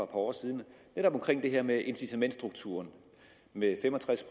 par år siden netop om det her med incitamentsstrukturen med fem og tres